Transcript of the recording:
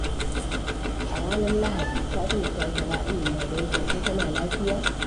A ranar Lahadi, Fatima ta kira Amina don jin ko tana lafiya.